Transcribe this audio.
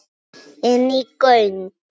Inní göng.